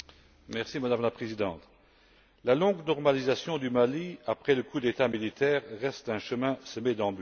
Madame la Présidente, la longue normalisation du Mali, après le coup d'État militaire, reste un chemin semé d'embûches.